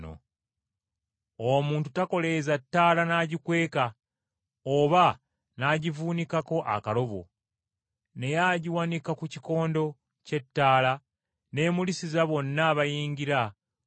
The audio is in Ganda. “Omuntu takoleeza ttaala n’agikweka, oba n’agivuunikako ekibbo! Naye agiwanika ku kikondo ky’ettaala n’emulisiza bonna abayingira basobole okulaba.